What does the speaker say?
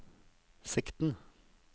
sikten